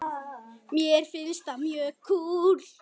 Mér finnst það mjög kúl.